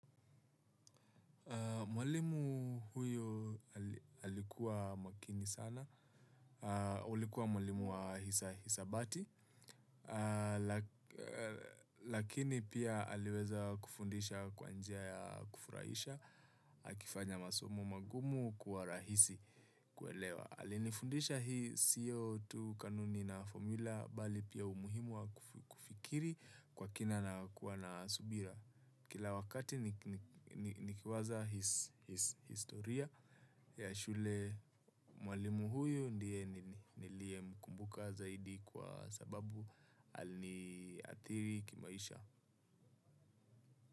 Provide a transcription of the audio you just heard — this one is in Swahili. Mwalimu huyo alikuwa makini sana, ulikuwa mwalimu wa hisa hisabati, lakini pia aliweza kufundisha kwanjia ya kufurahisha, akifanya masomo magumu kuwa rahisi kuelewa. Alinifundisha hii CO2 kanuni na formula bali pia umuhimu wa kufikiri kwa kina na kuwa na subira. Kila wakati nikiwaza his historia ya shule mwalimu huyu ndiye nilie mkumbuka zaidi kwa sababu aliniathiri kimaisha.